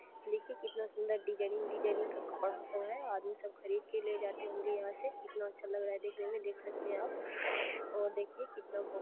ये देखिये कितना सुंदर डिजाईनिंग डिजाईनिंग का सब है है आदमी सब खरीद के ले जाते होंगे यहाँ से कितना अच्छा लग रहा है देखने में देख सकते है आप और देखिये कितना।